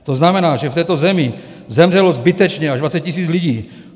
To znamená, že v této zemi zemřelo zbytečně až 20 000 lidí.